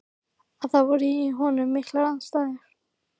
Að það voru í honum miklar andstæður.